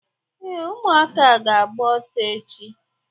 Ee, ụmụaka ga-agba ọsọ echi.